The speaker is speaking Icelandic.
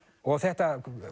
og þetta